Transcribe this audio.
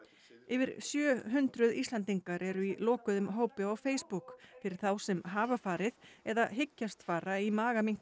yfir sjö hundruð Íslendingar eru í lokuðum hópi á Facebook fyrir þá sem hafa farið eða hyggjast fara í